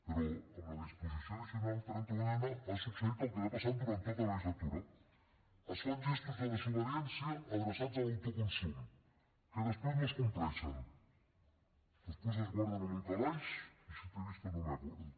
però amb la disposició addicional trenta unena ha succeït el que ha passat durant tota la legislatura es fan gestos de desobediència adreçats a l’autoconsum que després no es compleixen després es guarden en un calaix i si te he visto no me acuerdo